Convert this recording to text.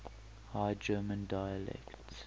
high german dialects